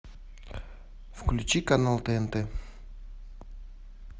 включи канал тнт